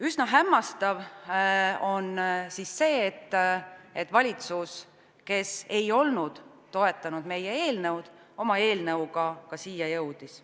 Üsna hämmastav on see, et valitsus, kes ei olnud toetanud meie eelnõu, oma eelnõuga ka siia jõudis.